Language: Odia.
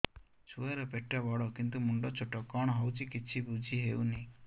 ଛୁଆର ପେଟବଡ଼ କିନ୍ତୁ ମୁଣ୍ଡ ଛୋଟ କଣ ହଉଚି କିଛି ଵୁଝିହୋଉନି